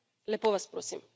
Lepo vas prosim.